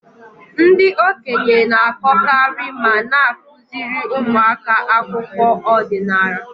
Ndị okenye na-akọkarị ma na-akụziri ụmụaka akụkọ ọdinala.